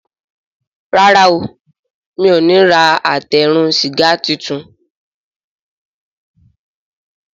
Ràrá o mi'o ní rà Àtẹ eérún sìgá títún.